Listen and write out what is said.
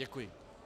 Děkuji.